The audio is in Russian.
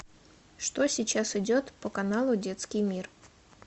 что сейчас идет по каналу детский мир